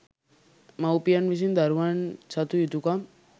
මවුපියන් විසින් දරුවන් සතු යුතුකම්